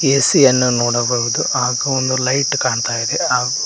AC ಯನ್ನು ನೋಡಬಹುದು ಹಾಗೂ ಒಂದು ಲೈಟ್ ಕಾಣ್ತಾ ಇದೆ ಹಾಗೂ--